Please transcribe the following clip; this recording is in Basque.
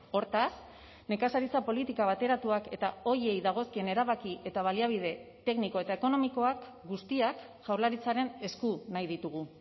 hortaz nekazaritza politika bateratuak eta horiei dagozkien erabaki eta baliabide tekniko eta ekonomikoak guztiak jaurlaritzaren esku nahi ditugu